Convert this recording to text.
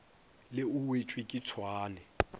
le o wetšwe ke tšhwaane